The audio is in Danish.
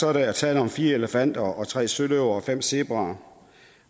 er der tale om fire elefanter tre søløver og fem zebraer